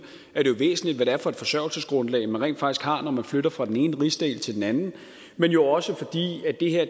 er væsentligt hvad det er for et forsørgelsesgrundlag man rent faktisk har når man flytter fra den ene rigsdel til den anden men jo også fordi